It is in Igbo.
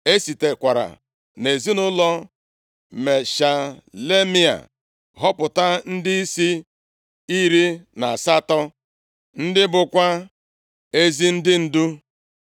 E sitekwara nʼezinaụlọ Meshelemaia họpụta ndịisi iri na asatọ (18) ndị bụkwa ezi ndị ndu.